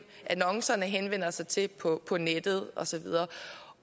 annoncerne henvender sig til på på nettet og så videre